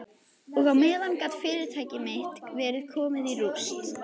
Og á meðan gat fyrirtæki mitt verið komið í rúst.